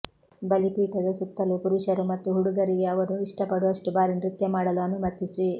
ಬಲಿಪೀಠದ ಸುತ್ತಲೂ ಪುರುಷರು ಮತ್ತು ಹುಡುಗರಿಗೆ ಅವರು ಇಷ್ಟಪಡುವಷ್ಟು ಬಾರಿ ನೃತ್ಯ ಮಾಡಲು ಅನುಮತಿಸಿ